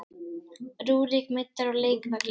Rúrik meiddur af leikvelli